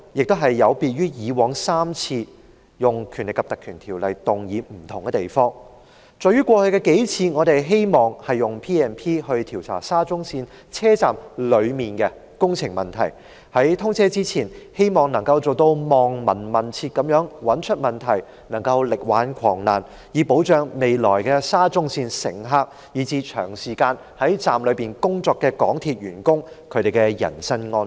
今次與以住3次有議員動議引用《條例》的不同之處，在於過去數次我們希望引用《條例》調查沙中線車站內的工程問題，希望能夠在通車前"望聞問切"，找出問題，力挽狂瀾，以保障未來的沙中線乘客及長時間在站內工作的港鐵員工的人身安全。